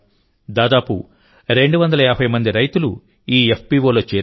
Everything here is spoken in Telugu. దాదాపు 250 మంది రైతులు ఈ FPOలో చేరారు